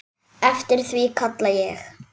Eftir því kalla ég.